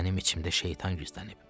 Mənim içimdə şeytan gizlənib.